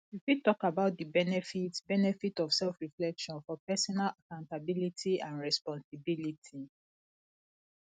you fit talk about di benefits benefits of selfreflection for personal accountability and responsibility